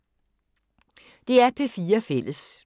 DR P4 Fælles